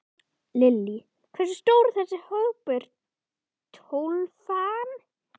Lillý: Hversu stór er þessi hópur, Tólfan?